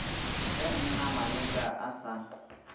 ge mna maleka a sa